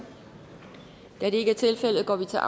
da det ikke er tilfældet går vi til